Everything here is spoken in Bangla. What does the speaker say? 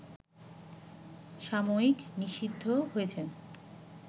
সাময়িক নিষিদ্ধ হয়েছেন